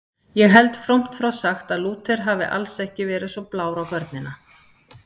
Ég held frómt frá sagt að Lúther hafi alls ekki verið svo blár á görnina.